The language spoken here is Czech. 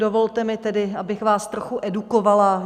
Dovolte mi tedy, abych vás trochu edukovala.